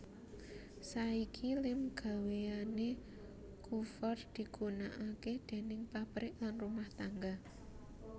Saiki lem gawéane Coover digunakake déning pabrik lan rumah tangga